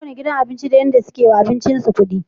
Kowanne gidan abinci da yadda suke yiwa abincin su kudi